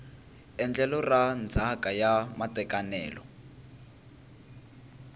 endlelo ra ndzhaka ya matekanelo